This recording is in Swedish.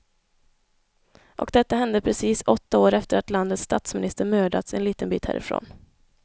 Och detta hände precis åtta år efter att landets statsminister mördats en liten bit härifrån.